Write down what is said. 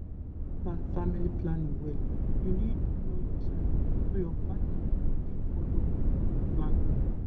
to use natural family planning well you need know your cycle so your partner fit follow dey plan.